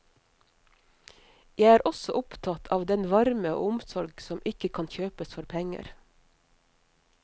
Jeg er også opptatt av den varme og omsorg som ikke kan kjøpes for penger.